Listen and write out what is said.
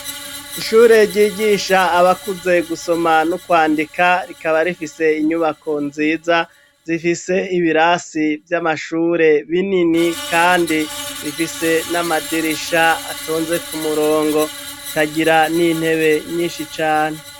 Ishure ryigisha abakuze gusoma no kwandika rikaba rifise inyubako nziza zifise ibirasi vy'amashure binini kandi bifise n'amadirisha atonze kumurongo ikagira n'intebe nyinshi cane.